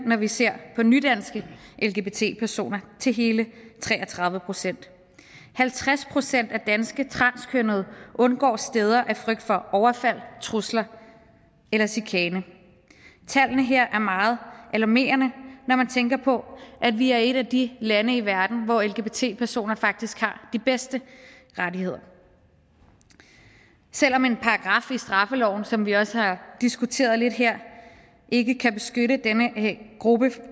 når vi ser på nydanske lgbt personer stiger til hele tre og tredive procent halvtreds procent af danske transkønnede undgår steder af frygt for overfald trusler eller chikane tallene her er meget alarmerende når man tænker på at vi er et af de lande i verden hvor lgbt personer faktisk har de bedste rettigheder selv om en paragraf i straffeloven som vi også har diskuteret lidt her ikke kan beskytte denne gruppe